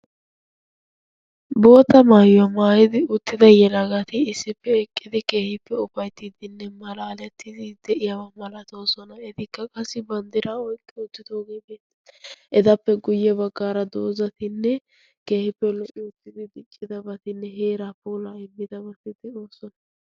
boota maayuwaa maayidi uttida yelaagati issippe eqqidi keehippe ufaittiiddinne malaalettidi de'iyaawa malatosona etikka qassi banddira oyqqi uttidaba malatoosna etappe guyye baggaara doozatinne keehiippe lo''i uttidi diccidabatinne heeraa poolaa immidabatiddi oossona